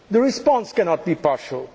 is not partial. The response